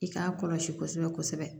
I k'a kɔlɔsi kosɛbɛ kosɛbɛ